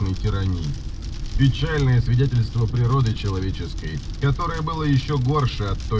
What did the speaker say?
н тирании печальное свидетельство природы человеческой которая была ещё горше от той